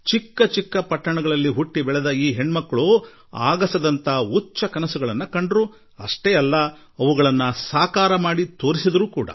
ಇವರು ಚಿಕ್ಕ ಪಟ್ಟಣಗಳಿಂದ ಬಂದವರಾದರೂ ಮುಗಿಲೆತ್ತರದ ಕನಸು ಕಂಡರು ಹಾಗೂ ಅದನ್ನು ಸಾಧಿಸಿ ತೋರಿಸಿದರು